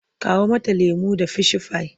Kawo mata lemo da fishifai!